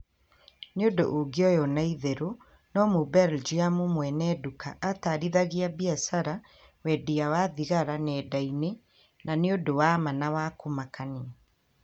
nĩ ũndũ ũngionywo na itheru no mũbelgiumu mwene nduka atarithagia biashara wendia wa thigara nenda-inĩ na nĩũndũ wa ma na wa kumakania